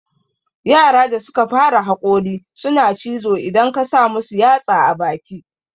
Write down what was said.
Yara da suka fara haƙori suna cizo idan ka samu yatsa a baki